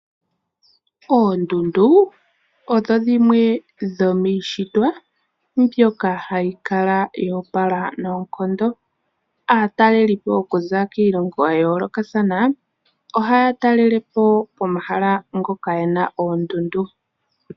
Oondundu odho dhimwe dhomiishitwa mbyoka hayi kala yo opala noonkondo. Aataleli po okuza kiilongo ya yoolokathana ohaya talele po omahala ngoka gena oondundu.